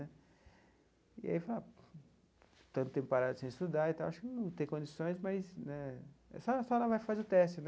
E aí eu falei... Tanto tempo parado sem estudar e tal, acho que não tem condições, mas né só vai lá vai fazer o teste.